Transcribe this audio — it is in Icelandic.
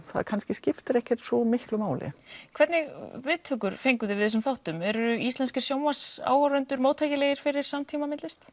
það kannski skiptir ekki svo miklu máli hvernig viðtökur fenguð þið við þessum þáttum eru íslenskir sjónvarpsáhorfendur móttækilegir fyrir samtímamyndlist